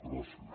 gràcies